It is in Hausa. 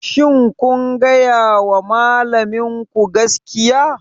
Shin kun gaya wa malaminku gaskiya?